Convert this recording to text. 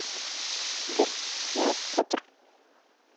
сбер я петр